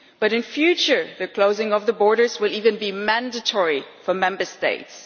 But in future the closing of borders will even be mandatory for Member States.